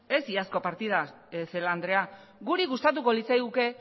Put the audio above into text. ez iazko partida celaá andrea guri gustatuko litzaiguke